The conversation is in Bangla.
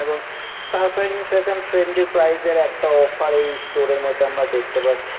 এবং সারপ্রাইজিং ফ্যাশন ফ্রেন্ডলি প্রাইজ এর একটা অফার এই স্টোর এর মধ্যে আমরা দেখতে পাচ্ছি।